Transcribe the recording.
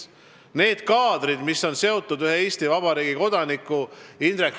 Ma mõistan hukka need kaadrid, mis on seotud ühe Eesti Vabariigi kodanikuga, Indrek Tarandiga.